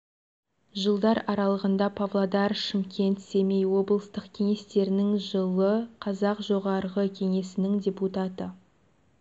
жылдар аралығында павлодар шымкент семей облыстық кеңестерінің жылы қазақ жоғарғы кеңесінің депутаты